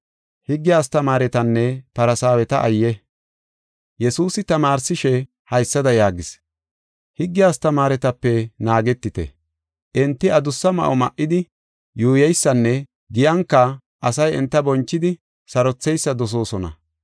Yesuusi tamaarsishe, haysada yaagis: “Higge astamaaretape naagetite; enti adussa ma7o ma7idi yuuyeysanne giyanka asay enta bonchidi sarotheysa dosoosona.